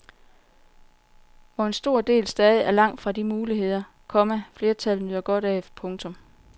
Hvor en stor del stadig er langt fra de muligheder, komma flertallet nyder godt af. punktum